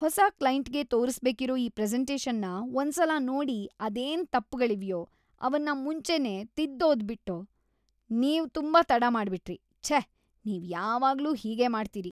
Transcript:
ಹೊಸ ಕ್ಲೈಂಟ್‌ಗೆ ತೋರಿಸ್ಬೇಕಿರೋ ಈ ಪ್ರೆಸೆಂಟೇಷನ್‌ನ ಒಂದ್ಸಲ ನೋಡಿ ಅದೇನ್‌ ತಪ್ಪ್‌ಗಳಿವ್ಯೋ ಅವನ್ನ ಮುಂಚೆನೇ ತಿದ್ದೋದ್ಬಿಟ್ಟು ನೀವ್ ತುಂಬಾ ತಡ ಮಾಡ್ಬಿಟ್ರಿ; ಛೇ! ನೀವ್ ಯಾವಾಗ್ಲೂ ಹೀಗೇ ಮಾಡ್ತೀರಿ.